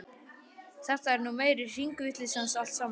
Þetta er nú meiri hringavitleysan allt saman!